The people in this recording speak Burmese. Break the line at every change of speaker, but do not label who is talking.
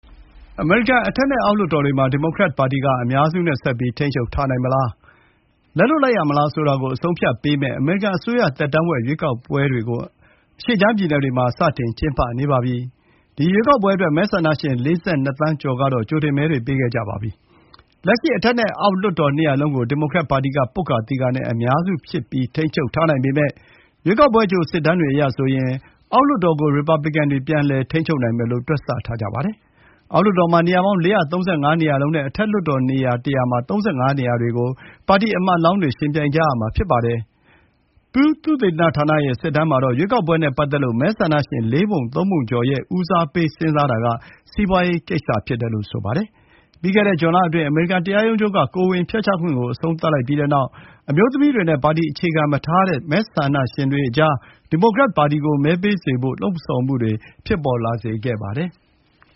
အမေရိကန်အထက်နဲ့ အောက်လွှတ်တော်တွေမှာ ဒီမိုကရက်ပါတီက အများစုနဲ့ ဆက်ပြီး ထိန်းချုပ်ထားနိုင်မလား၊ လက်လွှတ်ရမလား ဆိုတာကို အဆုံးအဖြတ်ပေးမယ် အမေရိကန်အစိုးရသက်တမ်းဝက်မှာ ကျင်းပတဲ့ လွှတ်တော် ရွေးကောက်ပွဲတွေကို အရှေ့ခြမ်း ပြည်နယ်တွေမှာ စတင်ကျင်းပနေပါပြီ။ ဒီရွေးကောက်ပွဲအတွက် မဲဆန္ဒရှင် ၄၂ သန်းကျော်ကတော့ ကြိုတင်မဲတွေ ပေးခဲ့ကြပြီးပါပြီ။ လက်ရှိ အထက်နဲ့ အောက်လွှတ်တော် နှစ်ရပ်စလုံးကို ဒီမိုကရက်ပါတီက ပွတ်ကာသီကာနဲ့ အများစု ထိန်းချုပ်ထားနိုင်ပေမဲ့ ရွေးကောက်ပွဲအကြို စစ်တမ်းတွေအရဆိုရင် အောက်လွှတ်တော်ကို ရီပတ်ပလစ်ကန်တွေ ပြန်လည် ထိန်းချုပ်နိုင်မယ်လို့ တွက်ဆထားကြပါတယ်။ အောက်လွှတ်တော်မှာ နေရာပေါင်း ၄၃၅ နေရာလုံးနဲ့ အထက်လွှတ်တော်နေရာ ၁၀၀ မှာ ၃၅ နေရာတွေကို ပါတီကိုယ်စားလှယ်တွေ ယှဉ်ပြိုင်ကြရမှာ ဖြစ်ပါတယ်။ Pew သုတေသနဌာနရဲ့ စစ်တမ်းမှာတော့ ရွေးကောက်ပွဲနဲ့ပတ်သက်လို့ မဲဆန္ဒရှင် လေးပုံ သုံးပုံကျော်ရဲ့ ဦးစားပေး စဉ်းစားမှုဟာ စီးပွားရေးကိစ္စ ဖြစ်တယ်လို့ ဆိုပါတယ်။ ပြီးခဲ့တဲ့ဇွန်လအတွင်း အမေရိကန်တရားရုံးချုပ်က ကိုယ်ဝန်ဖျက်ချခွင့်ကို အဆုံးသတ်လိုက်တဲ့နောက်၊ အမျိုးသမီးတွေနဲ့ ပါတီအခြေခံမထားတဲ့ မဲဆန္ဒရှင်တွေအကြား ဒီမိုကရက်ပါတီကို မဲပေးစေဖို့ လှုံဆော်မှုတွေ ဖြစ်လာစေခဲ့ပါတယ်။